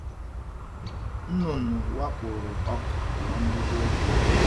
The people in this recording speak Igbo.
Nnụnụ wakporo ọka n’mbido oge.